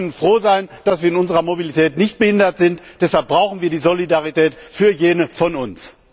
Wir können froh sein, dass wir in unserer Mobilität nicht behindert sind, deshalb brauchen wir diese Solidarität für jene von uns.